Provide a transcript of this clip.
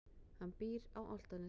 Hann býr á Álftanesi.